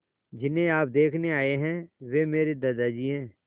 जिन्हें आप देखने आए हैं वे मेरे दादाजी हैं